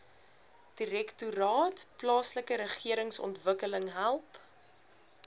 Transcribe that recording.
direktoraat plaaslikeregeringsontwikkeling help